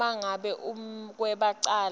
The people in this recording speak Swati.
uma ngabe umbekwacala